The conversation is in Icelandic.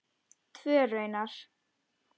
Tvö raunar.